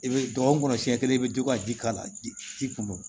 I bɛ dɔgɔkun kɔnɔ siɲɛ kelen i bɛ to ka ji k'a la ji kun do